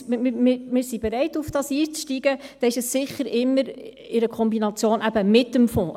… Wir sind bereit, darauf einzusteigen, dann ist es sicher immer in Kombination mit dem Fonds.